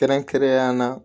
Kɛrɛnkɛrɛnnenya la